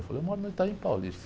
Eu falei, eu moro no.